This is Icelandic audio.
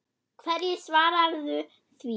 Hverju svararðu því?